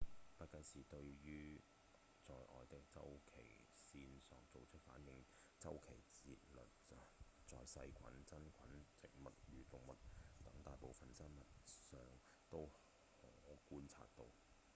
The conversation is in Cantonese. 不僅是對於外在週期線索做出反應的週期節律在細菌、真菌、植物與動物等大部分的生物身上都可觀察到